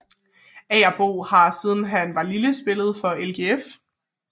Agerbo har siden han var lille spillet for LGF